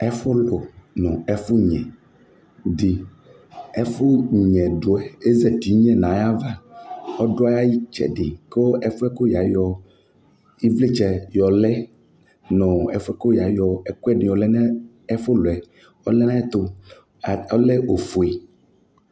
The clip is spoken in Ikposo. ɛfʋlʋ nʋ ɛfʋnyɛdi ɛfʋnyɛduɛ ezatinyɛ nayava ɔdʋayitsɛdi kʋ ɛfʋɛ yayɔ ivlitsɛ yɔlɛ nʋ ɛfʋɛ yayɔ ɛkʋɛdi yɔlɛ nu ɛfʋlʋɛ ɔlɛ nu ayuɛtʋ ɔlɛ ofʋe